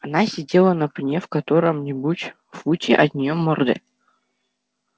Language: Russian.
она сидела на пне в котором нибудь футе от неё морды